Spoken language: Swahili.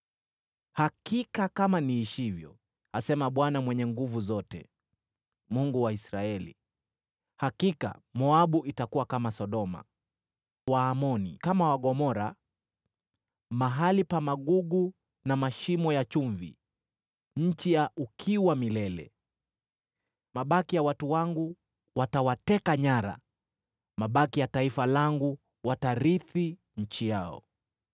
Hakika, kama niishivyo,” asema Bwana Mwenye Nguvu Zote, Mungu wa Israeli, “hakika Moabu itakuwa kama Sodoma, Waamoni kama Gomora: mahali pa magugu na mashimo ya chumvi, nchi ya ukiwa milele. Mabaki ya watu wangu watawateka nyara; mabaki ya taifa langu watarithi nchi yao.”